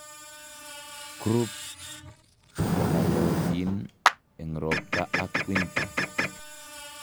Croup konaiyotin eng' roopta ak winter